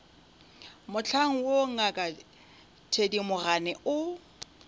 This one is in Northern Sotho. mohlang woo ngaka thedimogane o